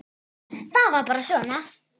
Það var bara svona.